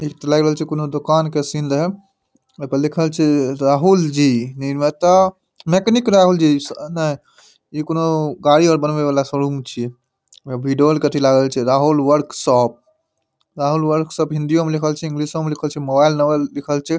इ ते लऐग रहल छै कोनो दुकान के सीन रहे अ पे लिखल छे राहुल जी निर्माता मैकेनिक राहुल जी स अ न इ कोनों गाड़ी आर बनवे वाला शौरूम छै अ विडोल कथि लागल छै राहुल वर्कशॉप राहुल वर्कशॉप हिंदियो में लिखल छै इंग्लिशो में लिखल छै मोबाइल नंबर लिखल छै।